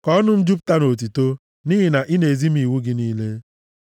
Ka ọnụ m jupụta nʼotuto, nʼihi na ị na-ezi m iwu gị niile.